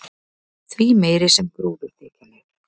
því meiri sem gróðurþekjan er